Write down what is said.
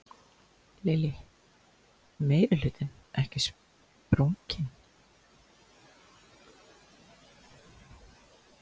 Lillý: Meirihlutinn ekki sprunginn?